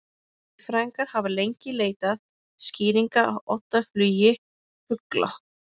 Líffræðingar hafa lengi leitað skýringa á oddaflugi fugla.